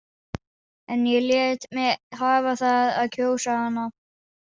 En ég lét mig hafa það að kjósa hana.